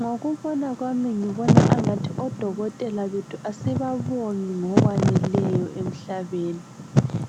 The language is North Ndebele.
Ngokubona kwami ngibona angathi odokotela bethu asibabongi ngokweneleyo emhlabeni.